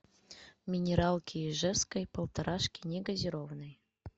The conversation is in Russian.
минералки ижевской полторашки негазированной